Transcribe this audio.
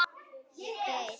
Ég beið.